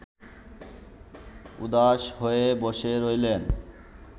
উদাস হয়ে বসে রইলেন